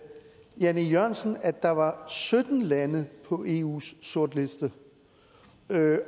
jan e jørgensen nævnte at der var sytten lande på eus sortliste